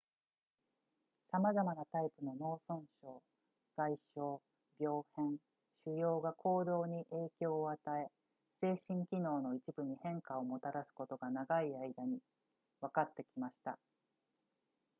さまざまなタイプの脳損傷外傷病変腫瘍が行動に影響を与え精神機能の一部に変化をもたらすことが長い間にわかってきました